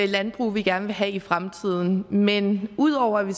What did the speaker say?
landbrug vi gerne vil have i fremtiden men ud over at vi